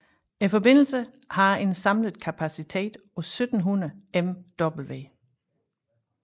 Forbindelserne har en samlet kapacitet på 1700 MW